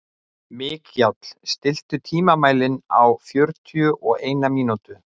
Mikjáll, stilltu tímamælinn á fjörutíu og eina mínútur.